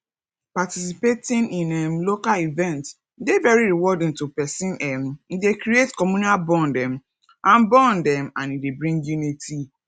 participating in um local event dey very rewarding to person um e dey create communal bond um and bond um and e dey bring unity